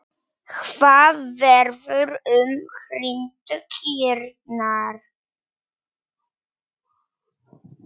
Hvað verður um hyrndu kýrnar?